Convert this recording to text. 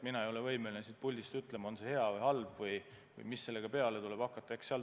Mina ei ole võimeline siit puldist ütlema, on see hea või halb või mis sellega peale tuleb hakata.